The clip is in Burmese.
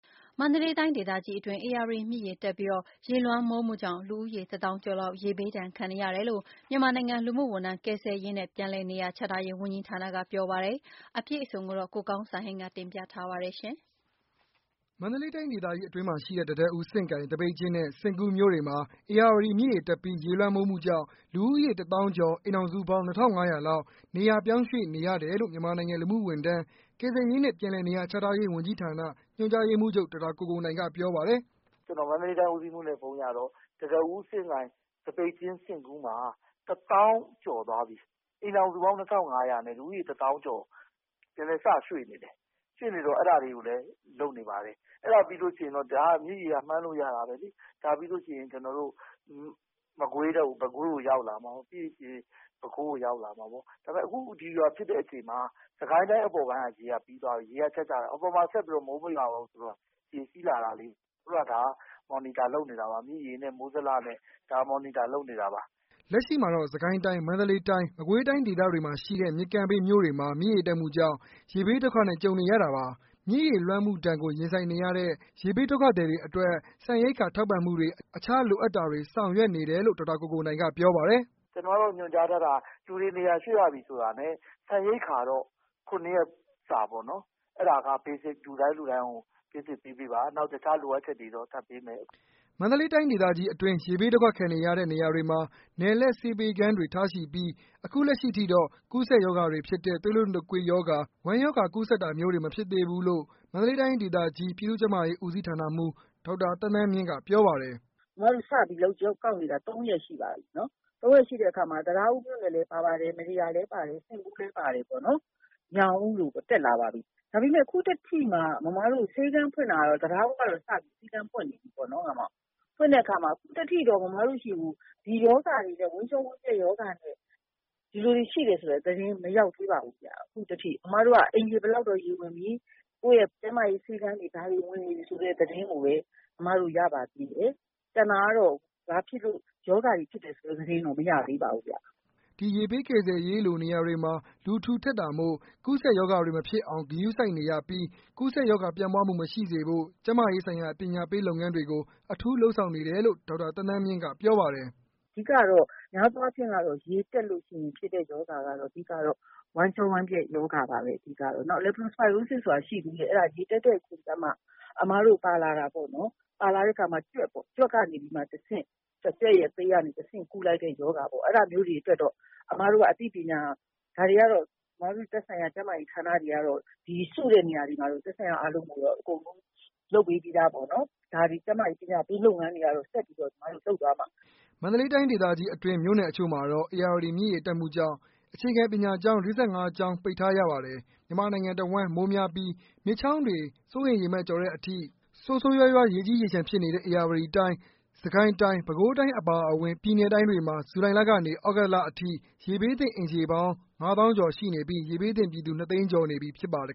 မန္တလေးတိုင်းဒေသကြီးအတွင်း ဧရာဝတီမြစ်ရေတက်ပြီး ရေလွှမ်းမိုးမှုကြောင့် လူဦးရေတစ်သောင်းကျော်လောက် ရေဘေးဒုက္ခနဲ့ကြုံနေရတယ်လို့ မြန်မာနိုင်ငံ လူမှုဝန်ထမ်း၊ကယ်ဆယ်ရေးနဲ့ ပြန်လည်နေရာချထားရေး ဝန်ကြီးဌာနကပြောပါတယ်။ အပြည့်အစုံကိုတော့ ကိုကောင်းစံဟိန်းက ပြောပြပေးမှာပါ။ မန္တလေးတိုင်း ဒေသကြီးအတွင်းမှာရှိတဲ့ တံတားဦး၊စဉ့်ကိုင်၊သပိတ်ကျင်းနဲ့ စဉ့်ကူးမြို့တွေမှာ ဧရာဝတီမြစ်ရေတက်ပြီး ရေလွှမ်းမိုးမှုကြောင့် လူဦးရေတစ်သောင်းကျော်၊ အိမ်ထောင်စုပေါင်း ၂၅၀၀လောက် နေရာပြောင်းရွှေ့နေရတယ်လို့ မြန်မာနိုင်ငံ လူမှုဝန်ထမ်း၊ကယ်ဆယ်ရေးနဲ့ ပြန်လည်နေရာချထားရေး ဝန်ကြီးဌာန ညွှန်ကြားရေးမှူးချုပ် ဒေါက်တာကိုကိုနိုင် ကပြောပါတယ်။ “ကျနော်မန္တလေးတိုင်းဦးစီးမှူးနဲ့ ဖုန်းရတော့ တံတားဦး၊စဉ့်ကိုင်၊သပိတ်ကျင်း၊ စဉ့်ကူးတွေမှာ ၁ သောင်းကျော်သွားပြီ အိမ်ထောင်စုပေါင်း ၂၅၀၀နဲ့ လူဦးရေ ၁ သောင်းကျော် ဒီကနေ့စရွှေ့နေတယ်။ ရွှေ့နေတော့ အဲဒါတွေလည်းလုပ်နေပါတယ်။ အဲဒါပြီးရင်တော့ မြစ်ရေကတော့ မှန်းလို့ရတာပေါ့နော် ၊ ဒါပြီးလို့ရှိရင် ကျနော်တို့ မကွေးတို့ ပဲခူးတို့ရောက်လာမှာပေါ့နော် ။ အခုဒီဟာဖြစ်တဲ့အချိန်မှာ စစ်ကိုင်းတိုင်းအပေါ်ကရေက ပြီးသွားပြီ အပေါ်မှာဆက်ပြီးတော့ မိုးမရွာတော့ဘူးဆိုတော့ ။ အခုက ဒါက Monitor လုပ်နေတာပါ မြစ်ရေနဲ့ မိုးဇလနဲ့ ဒါ Monitor လုပ်နေတာပါ။” လက်ရှိမှာတော့ စစ်ကိုင်းတိုင်း၊မန္တလေးတိုင်း၊မကွေးတိုင်းဒေသတွေမှာရှိတဲ့ မြစ်ကမ်းဘေးမြို့တွေမှာ မြစ်ရေတက်မှုကြောင့် ရေဘးဒုက္ခနဲ့ ကြုံနေရတာပါ။မြစ်ရေလွှမ်းမှုဒဏ်ကို ရင်ဆိုင်နေရတဲ့ ရေဘးဒုက္ခသည်တွေအတွက် ဆန်ရိက္ခာထောက်ပံ့မှုတွေ အခြားလိုအပ်တာတွေဆောင်ရွက်နေတယ်လို့ ဒေါက်တာကိုကိုနိုင်ကပြောပါတယ်။ “ကျနော်တို့ကတော့ ညွှန်ကြားထားတာ လူတွေနေရာရွှေ့ရပြီဆိုတာနဲ့ ဆန်ရိက္ခာတော့ ၇ ရက်စာပေါ့နော် ၊ အဲဒါက Basic လူတိုင်းလူတိုင်းကို ပေးပေးပါ။ နောက်တခြား လိုအပ်ချက်တွေတော့ ထပ်ပေးမယ်။” မန္တလေးတိုင်းဒေသကြီးအတွင်း ရေဘေးဒုက္ခခံနေရတဲ့ နေရာတွေမှာ နယ်လှည့်ဆေးပေးခန်းတွေထားရှိပြီး အခုလက်ရှိထိတော့ ကူးစက်ရောဂါတွေဖြစ်တဲ့ သွေးလွန်တုတ်ကွေးရောဂါ၊ ဝမ်းရောဂါတွေ ကူးစက်တာမျိုးတွေ မဖြစ်သေးဘူးလို့ မန္တလေးတိုင်းဒေသကြီးပြည်သူ့ကျန်းမာရေးဦးစီးဌာနမှူး ဒေါက်တာသန်းသန်းမြင့် ကပြောပါတယ်။ “အမတို့စပြီးကောက်နေတာက ၃ ရက်ရှိပါပြီ။ ၃ ရက်ရှိတဲ့အခါမှာ တံတားဦးမြို့နယ်လည်းပါတယ် မတ္တရာလည်းပါတယ်။ စဉ့်ကူးလည်းပါတယ်ပေါ့နော် ၊ ညောင်ဦးတို့လည်းတက်လာပြီ။ ဒါပေမယ့် အခုထက်ထိမှာ အမတို့ဆေးခန်းဖွင့်တာက တံတားဦးကတော့ သီးသန့်ဖွင့်နေပြီပေါ့နော်။ ဖွင့်တဲ့အခါမှာ အမတို့ဆီကို ဝမ်းပျက်ဝမ်းလျှောရောဂါနဲ့ လူတွေရှိတယ်ဆိုတဲ့သတင်းကတော့ မရောက်သေးပါဘူး အခုအထိ။ အမတို့မှာက အိမ်ခြေဘယ်လောက်ကတော့ ရေဝင်နေပြီ ၊ ကျန်းမာရေးဆေးခန်းတွေ ရေဝင်နေပြီဒီသတင်းကိုပဲ ရပါသေးတယ်။ ကျန်တာကတော့ ဘာဖြစ်လို့ ရောဂါတွေဖြစ်တယ်ဆိုတဲ့သတင်းကတော့ မရသေးပါဘူးခင်ဗျ။” ဒီရေဘေးကယ်ဆယ်ရေးလိုနေရာတွေမှာ လူထူထပ်တာမို့ကူးစက်ရောဂါတွေမဖြစ်အောင်ဂရုစိုက်နေရပြီး ကူးစက်ရောဂါပျံ့ပွားမှု မရှိစေဖို့ ကျန်းမာရေးဆိုင်ရာ ပညာပေးလုပ်ငန်းတွေကို အထူးလုပ်ဆောင်နေတယ်လို့ ဒေါက်တာဒေါ်သန်းသန်းမြင့်ကပြောပါတယ်။ “အဓိကတော့ များသောအားဖြင့်က ရေတက်လို့ရှိရင်ဖြစ်တဲ့ရောဂါကတော့ ဝမ်းလျှောဝမ်းပျက်ရောဂါ ပါပဲ အဓိကတော့ နောက် Leptospirosis ဆိုတာရှိသေးတယ် အဲဒါရေတက်တဲ့အချိန်ကျမှ အမတို့ပါလာတာပေါ့နော် ၊ ကြွက်ပေ့ါ ကြွက်ကနေမှတဆင့် ကြွက်သေးကနေမှဆင့် ကူးလာတဲ့ရောဂါပေါ့နော် အဲဒါမျိုးတွေအတွက်တော့ အမတို့က အသိပညာ ၊ ဒါတွေကတော့ အမတို့ သတ်ဆိုင်ရာကျန်းမာရေးဌာနတွေကတော့ ဒီစုတဲ့နေရာတွေမှာ သက်ဆိုင်ရာအားလုံးကိုတော့ လုပ်ပေးပြီးသားပေါ့နော်။ ကျန်းမာရေးပညာပေးလုပ်ငန်းတွေကတော့ ဆက်ပြီးတော့ လုပ်သွားမှာပါပဲ။” မန္တလေးတိုင်းဒေသကြီးအတွင်း မြို့နယ်အချို့မှာတော့ ဧရာဝတီမြစ်ရေတက်မှုကြောင့် အခြေခံပညာကျောင်း ၄၅ကျောင်းပိတ်ထားရပါတယ်။မြန်မာနိုင်ငံတဝှမ်းမိုးများပြီး မြစ်ချောင်းတွေ စိုးရိမ်ရေမှတ်ကျော်တဲ့အထိ ဆိုးဆိုးရွားရွားရေကြီးရေလျှံဖြစ်နေတဲ့ ဧရာဝတီတိုင်း၊ စစ်ကိုင်းတိုင်း၊ ပဲခူးတိုင်းအပါအဝင့် ပြည်နယ်တိုင်းတွေမှာ ဇူလိုင်လကနေ သြဂုတ်လအထိ ရေဘေးသင့်အိမ်ခြေပေါင်းက ငါးသောင်းကျော်ရှိနေပြီး ရေဘေးသင့်ပြည်သူ နှစ်သိန်းကျော်နေပြီဖြစ်ပါတယ်